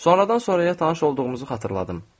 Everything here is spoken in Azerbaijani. Sonradan sonraya tanış olduğumuzu xatırladım.